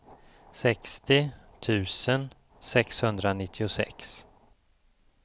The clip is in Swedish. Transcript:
sextio tusen sexhundranittiosex